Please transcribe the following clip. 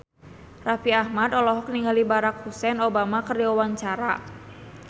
Raffi Ahmad olohok ningali Barack Hussein Obama keur diwawancara